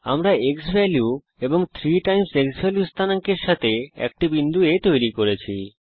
আমরা x value 3 x value স্থানাঙ্ক এর সঙ্গে একটি বিন্দু A তৈরী করেছি